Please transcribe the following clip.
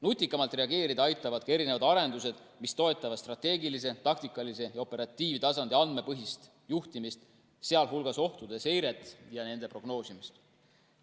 Nutikamalt reageerida aitavadki arendused, mis toetavad strateegilise, taktikalise ja operatiivtasandi andmepõhist juhtimist, sh ohtude seiret ja nende prognoosimist.